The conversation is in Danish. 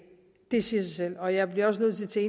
det siger sig selv og jeg bliver nødt til